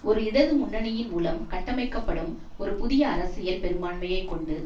ஒரு இடது முன்னணியின் மூலம் கட்டமைக்கப்படும் ஒரு புதிய அரசியல் பெரும்பான்மையை கொண்டு